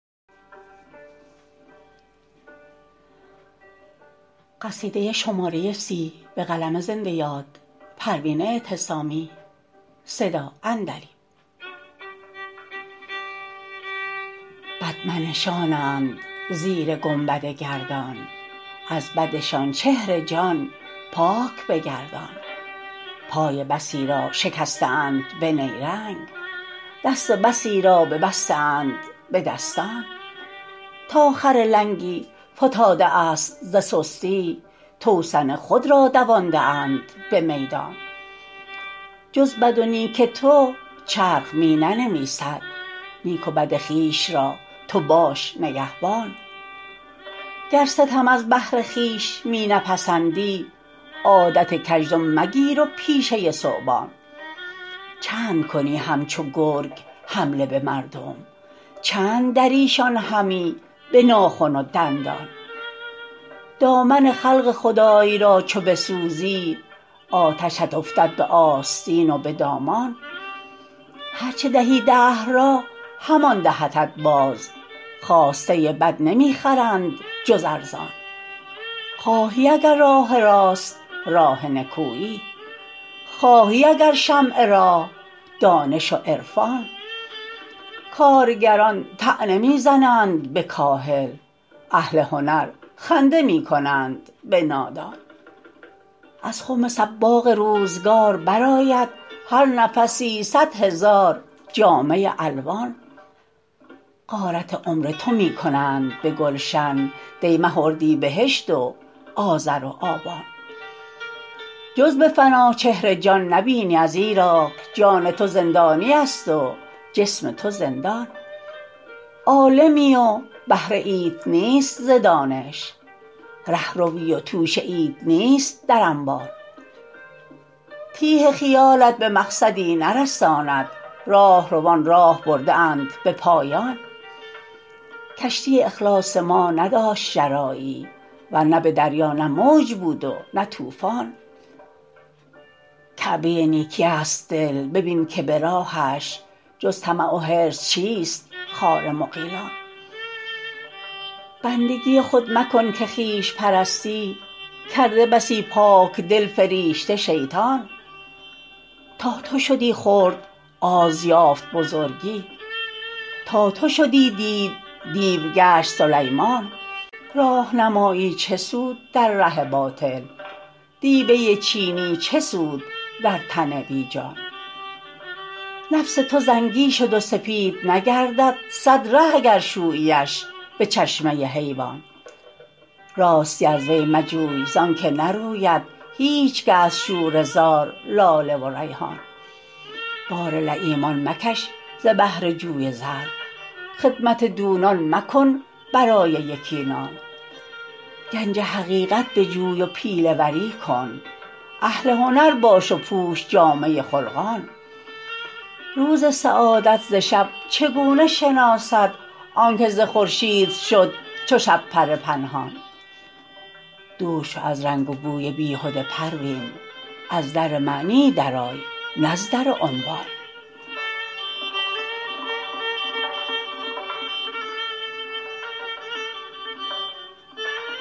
بد منشانند زیر گنبد گردان از بدشان چهر جان پاک بگردان پای بسی را شکسته اند به نیرنگ دست بسی را ببسته اند به دستان تا خر لنگی فتاده است ز سستی توسن خود را دوانده اند بمیدان جز بدو نیک تو چرخ می ننویسد نیک و بد خویش را تو باش نگهبان گر ستم از بهر خویش می نپسندی عادت کژدم مگیر و پیشه ثعبان چندکنی همچو گرگ حمله بمردم چند دریشان همی بناخن و دندان دامن خلق خدای را چو بسوزی آتشت افتد به آستین و به دامان هر چه دهی دهر را همان دهدت باز خواسته بد نمیخرند جز ارزان خواهی اگر راه راست راه نکویی خواهی اگر شمع راه دانش و عرفان کارگران طعنه میزنند به کاهل اهل هنر خنده میکنند به نادان از خم صباغ روزگار برآید هر نفسی صد هزار جامه الوان غارت عمر تو میکنند به گشتن دی مه و اردیبهشت و آذر و آبان جز بفنا چهر جان نبینی ازیراک جان تو زندانیست و جسم تو زندان عالمی و بهره ایت نیست ز دانش رهروی و توشه ایت نیست در انبان تیه خیالت به مقصدی نرساند راهروان راه برده اند به پایان کشتی اخلاص ما نداشت شراعی ور نه بدریا نه موج بود و نه طوفان کعبه نیکی است دل ببین که براهش جز طمع و حرص چیست خار مغیلان بندگی خود مکن که خویش پرستی کرده بسی پاکدل فریشته شیطان تا تو شدی خرد آز یافت بزرگی تا تو شدی دیو دیو گشت سلیمان راهنمایی چه سود در ره باطل دیبه چینی چه سود در تن بیجان نفس تو زنگی شد و سپید نگردد صد ره اگر شوییش بچشمه حیوان راستی از وی مجوی زانکه نروید هیچگه از شوره زار لاله و ریحان بار لییمان مکش ز بهر جوی زر خدمت دونان مکن برای یکی نان گنج حقیقت بجوی و پیله وری کن اهل هنر باش و پوش جامه خلقان روز سعادت ز شب چگونه شناسد آنکه ز خورشید شد چو شبپره پنهان دور شو از رنگ و بوی بیهده پروین از در معنی درای نز در عنوان